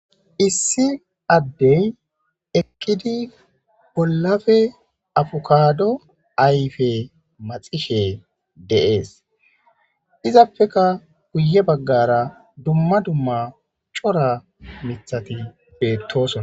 Issi adey eqidi bollape afukado ayfe maxishe de'es izapeka guye bagara dumma dumma cora mithati betosona